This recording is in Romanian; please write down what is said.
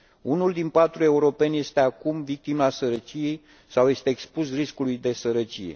Unul din patru europeni este acum victima sărăciei sau este expus riscului de sărăcie.